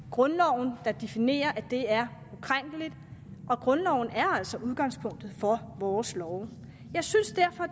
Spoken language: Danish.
grundloven der definerer at det er ukrænkeligt og grundloven er altså udgangspunktet for vores love jeg synes